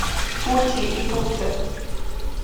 пути и путы